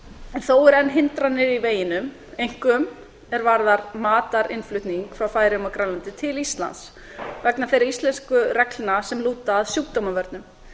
en þó eru enn hindranir í veginum einkum er varðar matarinnflutning frá færeyjum og grænlandi til íslands vegna þeirra íslensku reglna sem lúta að sjúkdómavörnum